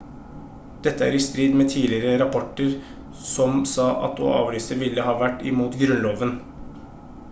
dette er i strid med tidligere rapporter som sa at å avlyse ville ha vært imot grunnloven